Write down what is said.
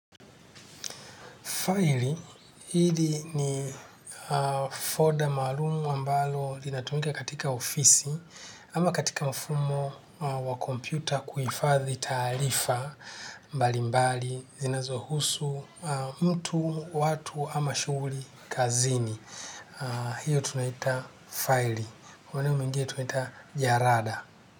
Faili hili ni foda maarumu ambalo linatumika katika ofisi ama katika mfumo wa kompyuta kuifadhi taarifa mbali mbali zinazohusu mtu, watu ama shughuli kazini. Hiyo tunaita faili. Maeneo mingine tunaita jarada.